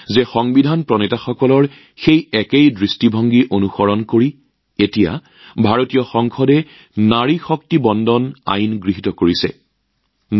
সংবিধান প্ৰণয়নকাৰীসকলৰ দূৰদৰ্শীতাক আনুগত্য প্ৰকাশ কৰি ভাৰতৰ সংসদে এতিয়া নাৰী শক্তি বন্দন আইনখন গৃহীত কৰাটো মোৰ বাবে অতি সন্তুষ্টিৰ বিষয়